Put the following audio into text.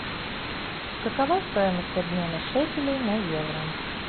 какова стоимость обмена шекелей на евро